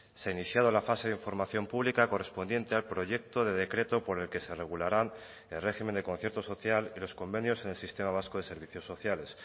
se ha iniciado la fase de información pública correspondiente al proyecto de decreto por el que se regularán el régimen de concierto social y los convenios en el sistema vasco de servicios sociales